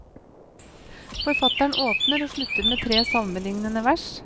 Forfatteren åpner og slutter med tre salmelignende vers.